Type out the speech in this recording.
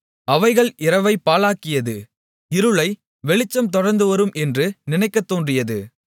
அவைகள் இரவைப் பகலாக்கியது இருளை வெளிச்சம் தொடர்ந்துவரும் என்று நினைக்கத்தோன்றியது